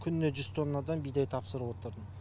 күніне жүз тоннадан бидай тапсырып отырдым